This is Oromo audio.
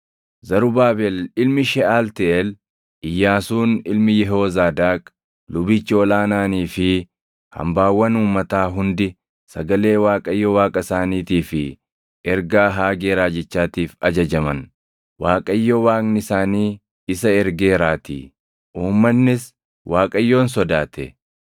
Zarubaabel ilmi Sheʼaltiiʼeel, Iyyaasuun ilmi Yehoozaadaaq lubichi ol aanaanii fi hambaawwan uummataa hundi sagalee Waaqayyo Waaqa isaaniitii fi ergaa Haagee raajichaatiif ajajaman; Waaqayyo Waaqni isaanii isa ergeeraatii. Uummannis Waaqayyoon sodaate.